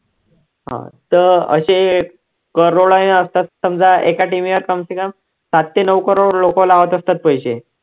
हा तर असे crores ने असतात समजा एका team व कम से कम सात ते नऊ crores लोकं लावत असतात पैसे